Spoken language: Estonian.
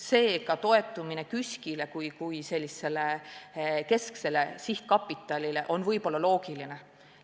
Seega, toetumine KÜSK-ile kui sellisele kesksele sihtkapitalile on võib-olla loogiline.